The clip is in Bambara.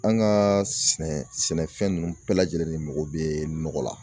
An ka sɛnɛfɛn nunnu bɛɛ lajɛlen mago bɛ nɔgɔ la.